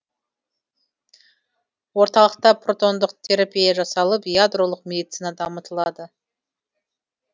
орталықта протондық терапия жасалып ядролық медицина дамытылады